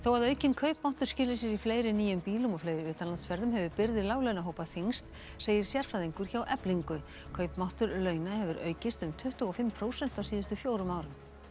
að aukinn kaupmáttur skili sér í fleiri nýjum bílum og fleiri utanlandsferðum hefur byrði láglauna hópa þyngst segir sérfræðingur hjá Eflingu kaupmáttur launa hefur aukist um tuttugu og fimm prósent á síðustu fjórum árum